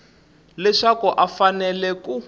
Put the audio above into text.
leswaku a a fanele ku